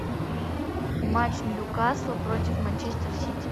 матч ньюкасл против манчестер сити